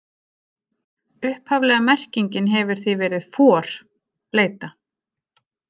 Upphaflega merkingin hefur því verið for, bleyta.